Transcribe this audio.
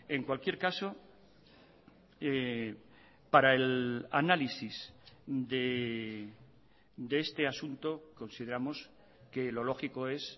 en cualquier caso para el análisis de este asunto consideramos que lo lógico es